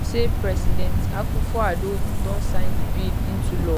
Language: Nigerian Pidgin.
say president akufoaddo don sign di bill into law